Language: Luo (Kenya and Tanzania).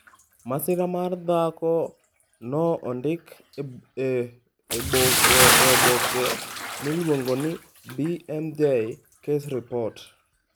Masira mar dhako no ondik e oboke miluongo ni BMJ Case Reports.